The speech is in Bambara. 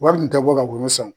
Wari kun tɛ bɔ ka woro san o